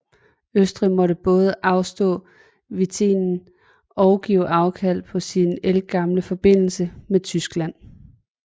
Østrig måtte både afstå Venetien og give afkald på sin ældgamle forbindelse med Tyskland